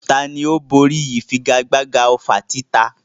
Tani ó borí ìfigagbága ọfà títa?